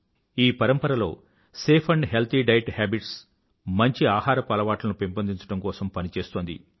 ఈ పరంపరలో safe healthy diet habits మంచి ఆహారపు అలవాట్లను పెంపొందించడం కోసం పనిచేస్తోంది